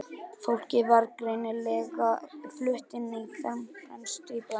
Fólkið var greinilega flutt inn í fremstu íbúðina.